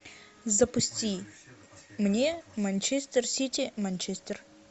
запусти мне манчестер сити манчестер